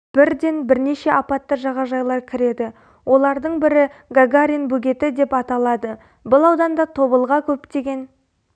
бірден бірнеше апатты жағажайлар кіреді олардың бірі гагарин бөгеті деп аталады бұл ауданда тобылға көптеген